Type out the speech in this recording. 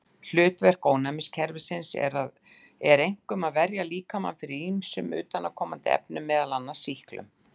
Hlutverk ónæmiskerfisins er einkum að verja líkamann fyrir ýmsum utanaðkomandi efnum, meðal annars sýklum.